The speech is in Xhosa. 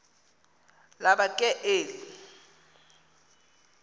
laba ke eli